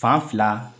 Fan fila